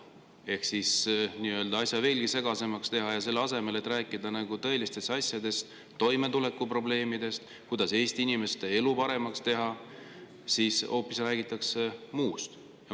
Ehk selleks, et asja veelgi segasemaks teha, ja selle asemel, et rääkida tõelistest asjadest, toimetulekuprobleemidest, sellest, kuidas Eesti inimeste elu paremaks teha, räägitakse hoopis muust.